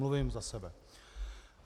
Mluvím za sebe.